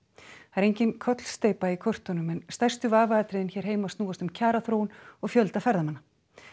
það er engin kollsteypa í kortunum en stærstu vafaatriðin hér heima snúast um kjaraþróun og fjölda ferðamanna